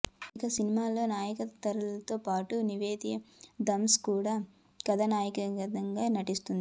ఇక సినిమాలో నయనతారతో పాటు నివేత థామస్ కూడా కథానాయికగా నటిస్తోంది